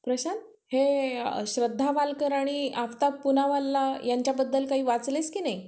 तेच चालू होत, bank चं. साधारण करतायेत pappa तेच मंग document कोणते लागतंय, काय नाही.